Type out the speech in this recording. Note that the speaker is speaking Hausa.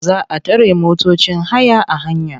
Za a tare motocin haya a hanya.